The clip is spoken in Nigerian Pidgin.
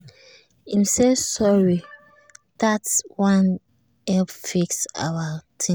him say sorry dat one help fix our ting.